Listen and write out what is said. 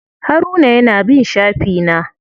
Haruna ya na bin shafi na.